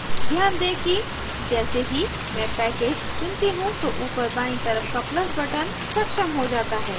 ध्यान दें कि जैसे ही मैं package चुनती choose तो ऊपर बायीं तरफ का plus button सक्षम हो जाता है